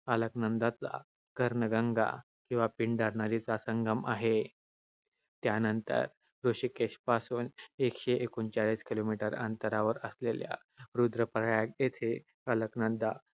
अलकनंदाचा कर्णगंगा किंवा पिंडर नदीचा संगम आहे. त्यानंतर ऋषिकेशपासून एकशे एकोणचाळीस kilometer अंतरावर असलेल्या रुद्र प्रयाग येथे अलकनंदा